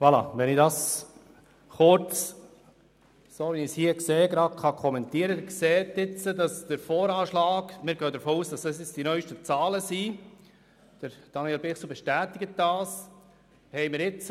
Wir gehen davon aus, dass die Präsentation die neuesten Zahlen beinhaltet, was von Daniel Bichsel bestätigt worden ist.